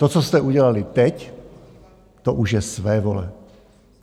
To, co jste udělali teď, to už je svévole.